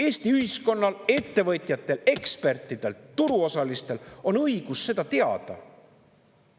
Eesti ühiskonnal, ettevõtjatel, ekspertidel, turuosalistel on õigus seda teada.